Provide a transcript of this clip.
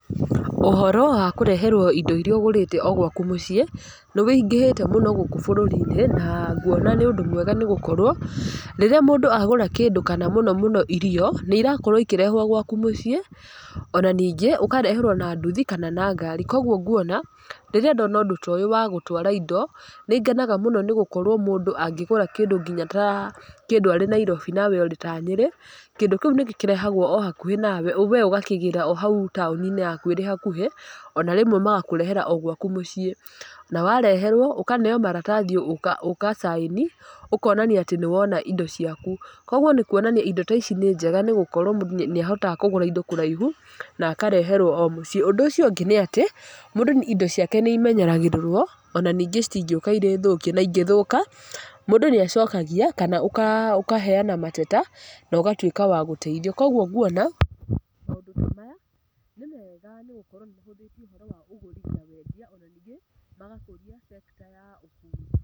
Ũhoro wa kũreherwo indo iria ũgũrĩte o gwaku mũciĩ, nĩ wĩingĩhĩte mũno gũkũ bũrũri-inĩ, na nguona nĩ ũndũ mwega nĩgũkorwo rĩrĩa mũndũ agũra kĩndũ, kana mũno mũno irio, nĩ irakorwo ikĩrehwo gwaku mũciĩ, ona ningĩ ũkareherwo na nduthi, kana na ngari, kwoguo nguona, rĩrĩa ndona ũndũ toyo wa gũtwara indo, nĩ ngenaga mũno nĩ gũkorwo mũndũ angĩgũra kĩndũ nginya ta kĩndũ arĩ ta Nairobi, nawe ũrĩ ta Nyĩrĩ, kĩndũ kĩu nĩ gĩkĩrahagwo o hakuhĩ nawe we ũgakĩgĩra o hau taũni-inĩ yaku ĩrĩ hakuhĩ, ona rĩmwe magakũrehera o gwaku mũciĩ, na wareherwo ũkaneo maratathi ũka ũka sign ũkonania atĩ nĩwona indo ciaku, koguo nĩ kuonania indo taici nĩ njega nĩ gũkorwo mũndũ nĩ ahotaga kũgũra indo kũraihu, na akareherwo o mũciĩ, ũndũ ũcio ũngĩ nĩatĩ, mũndũ indo ciakoe nĩ imenyagĩrĩrwo, ona ningĩ itingĩũka irĩ thũkie, na ingĩthũka, mũndũ nĩ acokagia kana ũka ũkaheyana mateta nogatuĩka wa gũteithio, kwoguo nguona, maũndũ tamaya nĩmega nĩ gũkorwo macenjetie ũhoro wa ũgũri na wendia ona ningĩ magakũria sector ya ũgũri.